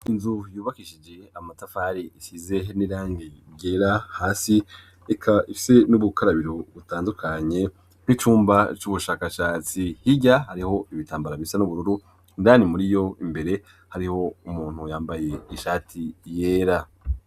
Inzu yubakishije amatafari isize n'irani ryera hasi, eka ifise n'ubukarabiro butandukanye n'icumba c'ubushakashatsi, hirya hariho ibitambara bisa n'ubururu, indani muri yo imbere hariho umuntu yambaye ishati yera.